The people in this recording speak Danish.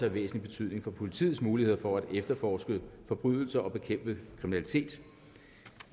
af væsentlig betydning for politiets muligheder for at efterforske forbrydelser og bekæmpe kriminalitet